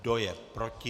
Kdo je proti?